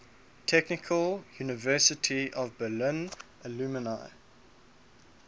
technical university of berlin alumni